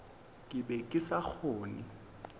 ke be ke sa kgone